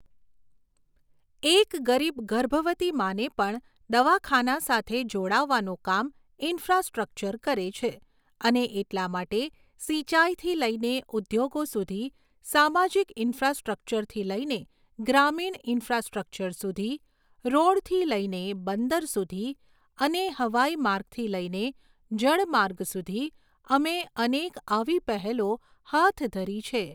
એક ગરીબ ગર્ભવતી માને પણ દવાખાના સાથે જોડાવાનું કામ ઈન્ફ્રાસ્ટ્રક્ચર કરે છે અને એટલા માટે સિંચાઈથી લઈને ઉદ્યોગો સુધી સામાજિક ઈન્ફ્રાસ્ટ્રક્ચરથી લઈને ગ્રામીણ ઈન્ફ્રાસ્ટ્રક્ચર સુધી, રોડથી લઈને બંદર સુધી અને હવાઈ માર્ગથી લઈને જળ માર્ગ સુધી અમે અનેક આવી પહેલો હાથ ધરી છે.